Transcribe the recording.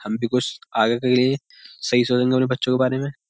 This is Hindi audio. हम भी कुछ आगे के लिए सही सोचेंगे अपने बच्चों के बारे में।